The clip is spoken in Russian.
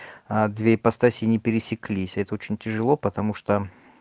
а две ипостаси не пересеклись это очень тяжело потому что